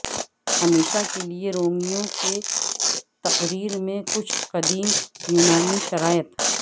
ہمیشہ کے لئے رومیوں کی تقریر میں کچھ قدیم یونانی شرائط